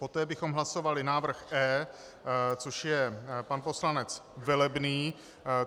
Poté bychom hlasovali návrh E, což je pan poslanec Velebný.